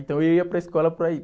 Então eu ia para a escola para isso.